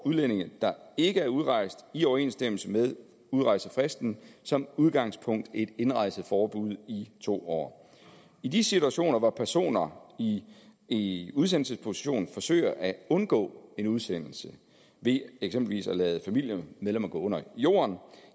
udlændinge der ikke er udrejst i overensstemmelse med udrejsefristen som udgangspunkt et indrejseforbud i to år i de situationer hvor personer i i udsendelsesposition forsøger at undgå en udsendelse ved eksempelvis at lade familiemedlemmer gå under jorden